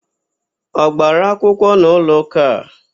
Ọ gbara akwụkwọ n'ụlọụka a?